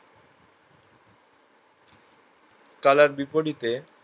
তলার বিপরীতে